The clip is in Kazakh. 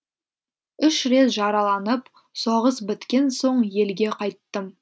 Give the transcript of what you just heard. үш рет жараланып соғыс біткен соң елге қайттым